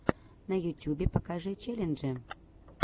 на ютюбе покажи челленджи